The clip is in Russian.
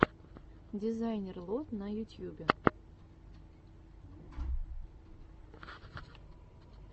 дизайнер лод на ютьюбе